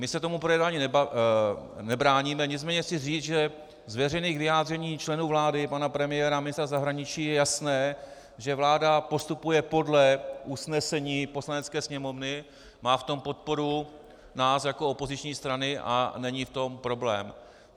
My se tomu projednávání nebráníme, nicméně chci říct, že z veřejných vyjádření členů vlády, pana premiéra, ministra zahraničí je jasné, že vláda postupuje podle usnesení Poslanecké sněmovny, má v tom podporu nás jako opoziční strany a není v tom problém.